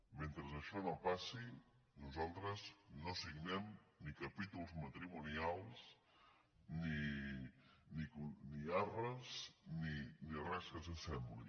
mentre això no passi nosaltres no signem ni capítols matrimonials ni ar·res ni res que s’hi assembli